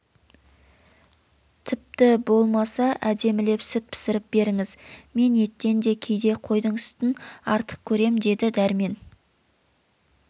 тіпті болмаса әдемілеп сүт пісіріп беріңіз мен еттен де кейде қойдың сүтін артық көрем деді дәрмен